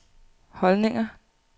holdninger